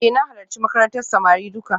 Eh na halarci makarantar samari duka